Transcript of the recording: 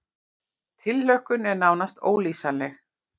Tilhlökkunin er nánast ólýsanleg